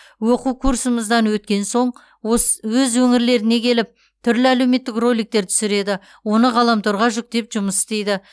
оқу курсымыздан өткен соң ос өз өңірлеріне келіп түрлі әлеуметтік роликтер түсіреді оны ғаламторға жүктеп жұмыс істейді